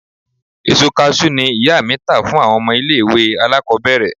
Èso Kaṣú ni ìyá mi tà fún àwọn ọmọ ilẹ̀ ìwẹ̀ alákòbẹ̀rẹ̀